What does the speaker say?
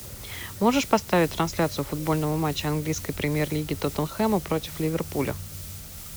можешь поставить трансляцию футбольного матча английской премьер лиги тоттенхэма против ливерпуля